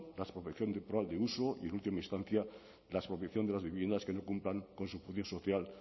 la expropiación y en última instancia la expropiación de las viviendas que no cumplan con su función social